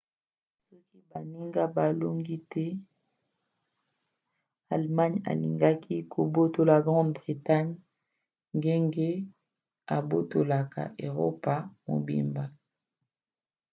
soki baninga balongaki te allemagne alingaki kobotola grande bretagne ndenge abotolaka eropa mobimba